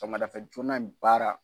Sɔgɔmadafɛ joona in baara.